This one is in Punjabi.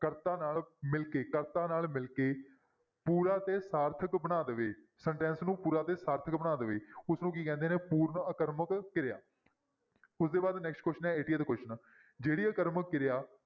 ਕਰਤਾ ਨਾਲ ਮਿਲ ਕੇ ਕਰਤਾ ਨਾਲ ਮਿਲ ਕੇ ਪੂਰਾ ਤੇ ਸਾਰਥਕ ਬਣਾ ਦੇਵੇ sentence ਨੂੰ ਪੂਰਾ ਤੇ ਸਾਰਥਕ ਬਣਾ ਦੇਵੇ ਉਸਨੂੰ ਕੀ ਕਹਿੰਦੇ ਨੇ ਪੂਰਨ ਆਕਰਮਕ ਕਿਰਿਆ, ਉਸਦੇ ਬਾਅਦ next question ਹੈ eightieth question ਜਿਹੜੀ ਆਕਰਮਕ ਕਿਰਿਆ